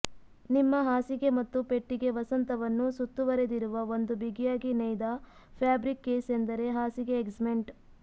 ನಿಮ್ಮ ಹಾಸಿಗೆ ಮತ್ತು ಪೆಟ್ಟಿಗೆ ವಸಂತವನ್ನು ಸುತ್ತುವರೆದಿರುವ ಒಂದು ಬಿಗಿಯಾಗಿ ನೇಯ್ದ ಫ್ಯಾಬ್ರಿಕ್ ಕೇಸ್ ಎಂದರೆ ಹಾಸಿಗೆ ಎಗ್ಸಮೆಂಟ್